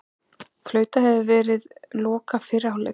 Flautað hefur verið loka fyrri hálfleiks